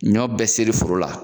Ɲɔ bɛɛ seri foro la